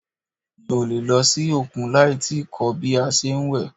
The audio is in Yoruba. Mi o le lọ sí òkun láì tíì kọ́ bí a ṣe ń wẹ̀.